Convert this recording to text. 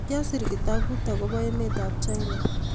Kyasir kitabut agobo emetab China